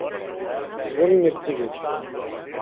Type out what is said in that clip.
Zvonimir Ciglič.